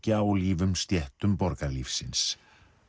gjálífum stéttum borgarlífsins